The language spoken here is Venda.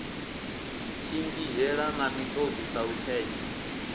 shingizhela na miṱodzi sa lutshetshe